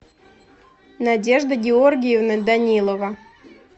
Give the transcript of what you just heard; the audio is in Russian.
надежда георгиевна данилова